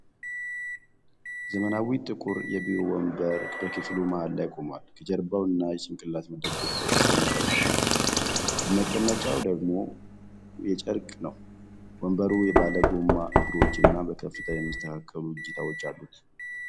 ዘመናዊ ጥቁር የቢሮ ወንበር በክፍሉ መሃል ላይ ቆሟል። ጀርባው እና የጭንቅላት መደገፊያው የሽቦ መረብ ሲሆን፣ መቀመጫው ደግሞ የጨርቅ ነው። ወንበሩ ባለጎማ እግሮች እና በከፍታ የሚስተካከሉ እጀታዎች አሉት።